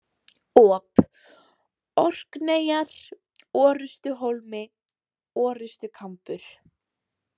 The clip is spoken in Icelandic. Op, Orkneyjar, Orrustuhólmi, Orrustukambur